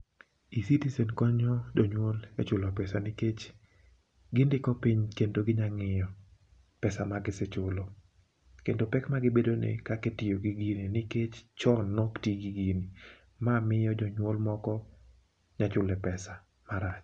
E-citizen konyo jonyuol e chulo pesa nikech gindiko piny kendo ginyang'iyo pesa magisechulo. Kendo pek magibedo ni kakitiyo gi gini nikech chon nok ti gi gini. Ma miyo jonyuol moko nyachule pesa marach.